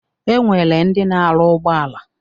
E nwere ndị na-arụ ụgbọala.